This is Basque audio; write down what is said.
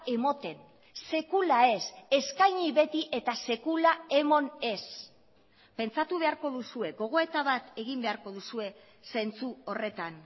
ematen sekula ez eskaini beti eta sekula eman ez pentsatu beharko duzue gogoeta bat egin beharko duzue zentzu horretan